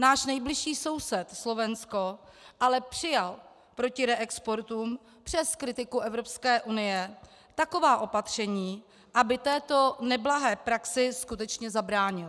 Náš nejbližší soused, Slovensko, ale přijal proti reexportům přes kritiku EU taková opatření, aby této neblahé praxi skutečně zabránil.